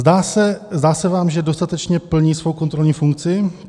Zdá se vám, že dostatečně plní svou kontrolní funkci?